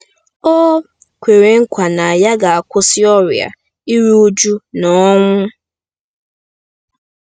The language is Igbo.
O kwere nkwa na ya ga-akwụsị ọrịa, iru újú, na ọnwụ.